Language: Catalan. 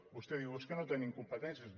vostè diu és que no tenim competències